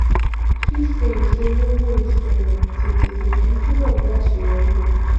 ṣíṣe iṣé lówó isòro tetetete ń túbò gbé aṣeyọrí